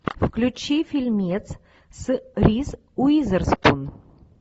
включи фильмец с риз уизерспун